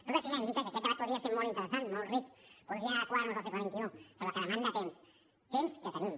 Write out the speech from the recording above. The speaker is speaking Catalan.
tot això ja indica que aquest debat podria ser molt interessant molt ric podríem adequar nos al segle xxi però que demana temps temps que tenim